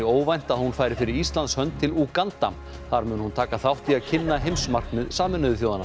óvænt að hún færi fyrir Íslands hönd til Úganda þar mun hún taka þátt í að kynna heimsmarkmið Sameinuðu þjóðanna